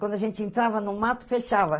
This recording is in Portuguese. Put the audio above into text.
Quando a gente entrava no mato, fechava.